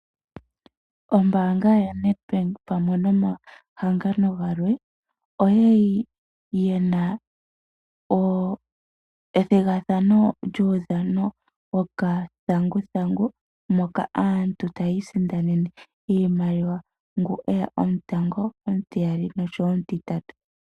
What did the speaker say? Ombaanga ya Net Bank pamwe nomahangano galwe . Oyali yena ethigathano lyuudhano wokathanguthangu . Moka aantu taya isindanene iimaliwa ngu eya omutango, omutiyali, nomutitatu.